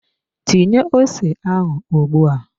Tinye ose ahụ ugbua!